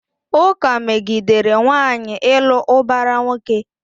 Ụka megidere nwaanyị ịlụ ụbara nwoke.